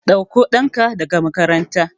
Ɗakko ɗanka daga makaranta.